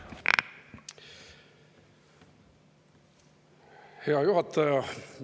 Hea juhataja!